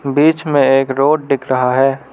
बीच में एक रोड दिख रहा है।